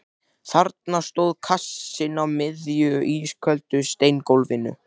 Þarna stóð kassinn á miðju ísköldu steingólfinu.